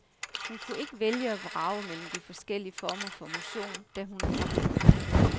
Hun kunne ikke vælge og vrage mellem de forskellige former for motion, da hun er gravid.